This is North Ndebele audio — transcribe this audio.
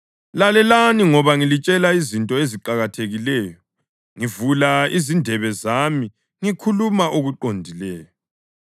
Lalelani ngoba ngilitshela izinto eziqakathekileyo; ngivula izindebe zami ngikhuluma okuqondileyo.